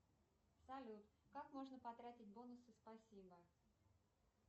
салют как можно потратить бонусы спасибо